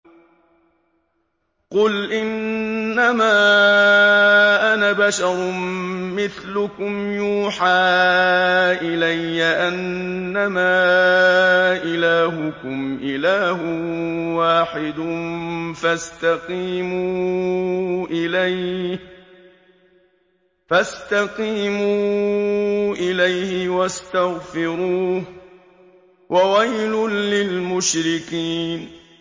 قُلْ إِنَّمَا أَنَا بَشَرٌ مِّثْلُكُمْ يُوحَىٰ إِلَيَّ أَنَّمَا إِلَٰهُكُمْ إِلَٰهٌ وَاحِدٌ فَاسْتَقِيمُوا إِلَيْهِ وَاسْتَغْفِرُوهُ ۗ وَوَيْلٌ لِّلْمُشْرِكِينَ